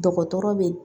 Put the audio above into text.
Dɔgɔtɔrɔ be